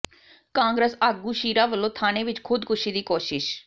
ਕਾਂਗਰਸ ਆਗੂ ਸ਼ੀਰਾ ਵੱਲੋਂ ਥਾਣੇ ਵਿੱਚ ਖ਼ੁਦਕੁਸ਼ੀ ਦੀ ਕੋਸ਼ਿਸ਼